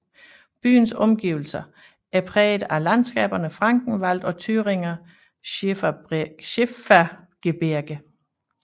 Byens omgivelæser er præget af landskaberne Frankenwald og Thüringer Schiefergebirge